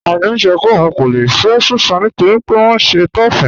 Àkín sọ́ pé óun kò lè fẹ́ Súsán nítorí pé ọ nṣẹ́ Taòism..